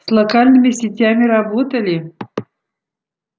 с локальными сетями работали